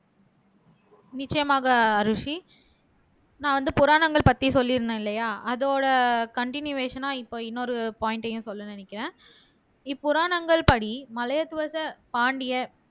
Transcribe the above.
நிச்சயமாக அரூசி நான் வந்து புராணங்கள் பத்தி சொல்லிருந்தேன் இல்லையா அதோட கன்டினியேஷன்ன இப்ப இன்னொரு பாயிண்ட்ஐயும் சொல்ல நினைக்கிறேன் இப்புராணங்கள் படி மலையத்துவச பாண்டிய